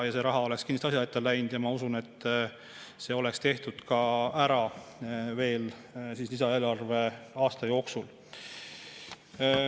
See raha oleks kindlasti asja ette läinud ja ma usun, et see oleks ära tehtud veel eelarveaasta jooksul.